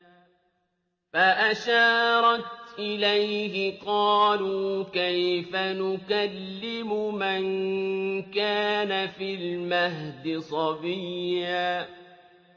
فَأَشَارَتْ إِلَيْهِ ۖ قَالُوا كَيْفَ نُكَلِّمُ مَن كَانَ فِي الْمَهْدِ صَبِيًّا